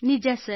ನಿಜ ಸರ್